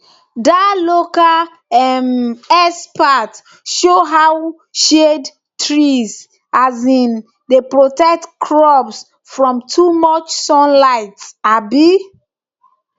dat local um expert show how shade trees um dey protect crops from too much sunlight um